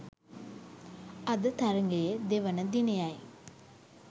අද තරඟයේ දෙවන දිනයයි